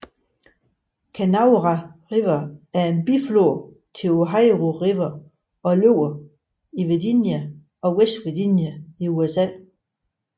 Kanawha River er en biflod til Ohio River og løber i Virginia og West Virginia i USA